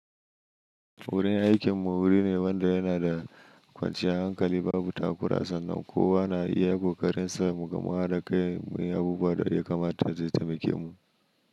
Wurin aikinmu wuri ne wanda yana da kwanciyar hankali. Babu takura sannan kowa na iya ƙoƙarin sa. Muga ma haɗa kai muyi abubuwa da ya kamata zai taimake mu.